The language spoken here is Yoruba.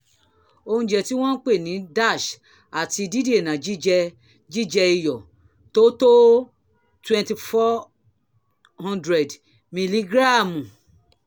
oúnjẹ tí wọ́n ń pè ní dash àti dídènà jíjẹ jíjẹ iyọ̀ tó tó 2400 miligíráàmù